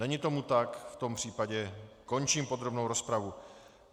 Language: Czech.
Není tomu tak, v tom případě končím podrobnou rozpravu.